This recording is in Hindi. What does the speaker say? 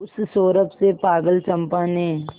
उस सौरभ से पागल चंपा ने